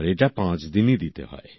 আর এটা পাঁচদিনই দিতে হয়